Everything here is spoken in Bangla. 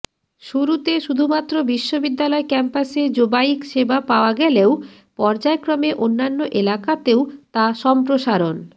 শুরুতে শুধুমাত্র বিশ্ববিদ্যালয় ক্যাম্পাসে জোবাইক সেবা পাওয়া গেলেও পর্যায়ক্রমে অন্যান্য এলাকাতেও তা সম্প্রসারণ